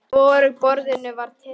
Hvorugu boðinu var þá tekið.